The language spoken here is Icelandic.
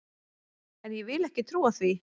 En ég vil ekki trúa því!